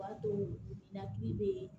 O b'a to ninakili bɛ